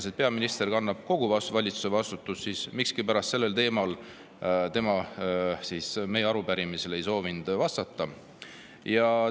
Kuigi peaminister kannab kogu valitsuse vastutust, siis sellel teemal ta meie arupärimisele miskipärast vastata ei soovinud.